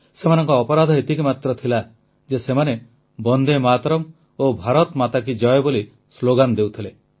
ସେମାନଙ୍କ ଅପରାଧ ଏତିକି ମାତ୍ର ଥିଲା ଯେ ସେମାନେ ବନ୍ଦେ ମାତରମ୍ ଓ ଭାରତମାତା କି ଜୟ ବୋଲି ସ୍ଲୋଗାନ ଦେଉଥିଲେ